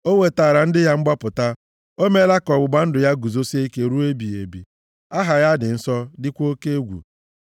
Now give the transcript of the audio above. O wetaara ndị ya mgbapụta; o meela ka ọgbụgba ndụ ya guzosie ike ruo ebighị ebi, aha ya dị nsọ dịkwa oke egwu.